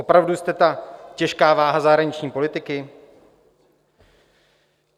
Opravdu jste ta těžká váha zahraniční politiky?